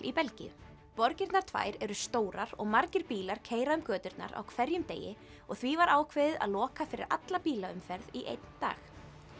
í Belgíu borgirnar tvær eru stórar og margir bílar keyra um göturnar á hverjum degi og því var ákveðið að loka fyrir alla bílaumferð í einn dag